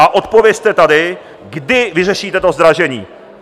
A odpovězte tady, kdy vyřešíte to zdražení!